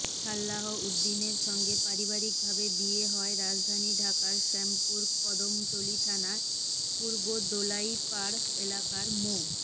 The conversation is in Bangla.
সালাহ উদ্দিনের সঙ্গে পারিবারিকভাবে বিয়ে হয় রাজধানী ঢাকার শ্যামপুর কদমতলী থানার পূর্ব দোলাইরপাড় এলাকার মো